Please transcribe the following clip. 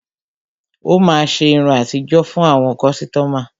Ó máa ṣe irun àtijó fún àwọn kọ́sítọ́mà.